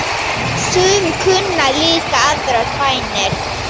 Sum kunna líka aðrar bænir.